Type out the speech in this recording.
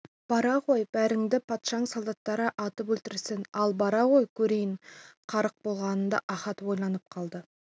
бара ғой бәріңді патшаның солдаттары атып өлтірсін ал бара ғой көрейін қарық болғаныңды ахат ойланып қалды